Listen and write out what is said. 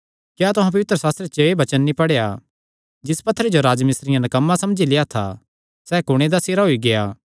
क्या तुहां पवित्रशास्त्रे च एह़ वचन नीं पढ़ेया जिस पत्थरे जो राजमिस्त्रियां नकम्मा समझी लेआ था सैई कुणे दा सिरा होई गेआ